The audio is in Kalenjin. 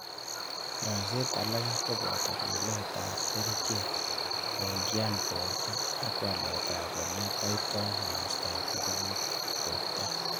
Nyoiset alake kopoto lilet ap kerichek koingian porto, ak walet ap ole aito mastap nguvut ap porto.